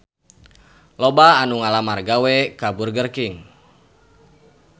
Loba anu ngalamar gawe ka Burger King